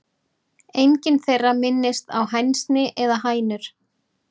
Engin þeirra minnist á hænsni eða hænur.